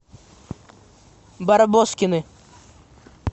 барбоскины